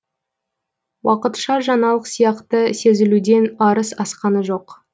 уақытша жаңалық сияқты сезілуден арыс асқаны жоқ